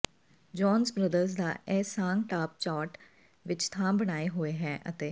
Jones Brothers ਦਾ ਇਹ song top chart ਵਿੱਚ ਥਾਂ ਬਣਾਏ ਹੋਏ ਹੈ ਅਤੇ